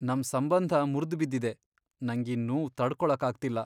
ನಮ್ ಸಂಬಂಧ ಮುರ್ದ್ಬಿದ್ದಿದೆ, ನಂಗೀ ನೋವ್ ತಡ್ಕೊಳಕ್ಕಾಗ್ತಿಲ್ಲ.